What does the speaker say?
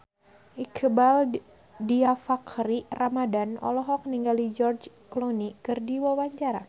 Iqbaal Dhiafakhri Ramadhan olohok ningali George Clooney keur diwawancara